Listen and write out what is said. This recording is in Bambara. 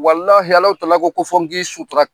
Walahi Alahu tala ko, kofɔ n ki sutura.